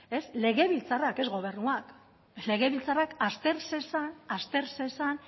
legebiltzarrak ez gobernuak legebiltzarrak azter zezan azter zezan